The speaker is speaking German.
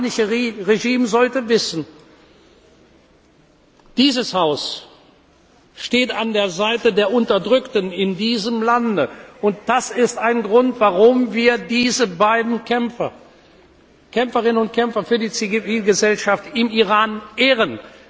Und das iranische Regime sollte wissen, dieses Haus steht an der Seite der Unterdrückten in diesem Lande, und das ist ein Grund, warum wir diese Kämpferin und diesen Kämpfer für die Zivilgesellschaft im Iran ehren.